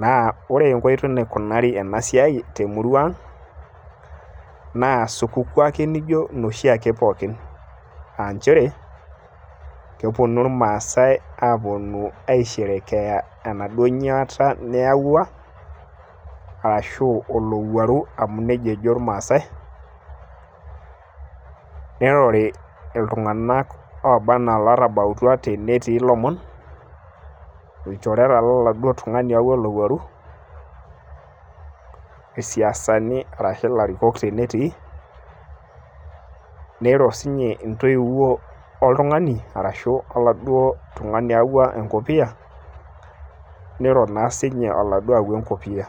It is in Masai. naa ore enkoitoi naikunari ena siai. temurua ang',naa supukuu ake naijo inkulie pookin. kepuonu irmaasae aisherekea enaduo nyuaata niyawua, olowuaru amu neia ejo irmaasae. neirori tenetabautua lomon. ilchoreta loladuoo tungani oyawua olowuaru, isiasani arashu ilarikok tenetii. niro intoiwou oladuoo oyawua enkopiyia, niro naa sii ninye oladuoo otawua enkopiyia.